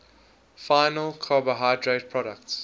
final carbohydrate products